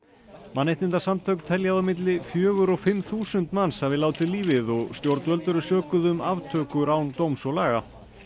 mannréttindasamtök telja á að milli fjögur og fimm þúsund manns hafi látið lífið og stjórnvöld eru sökuð um aftökur án dóms og laga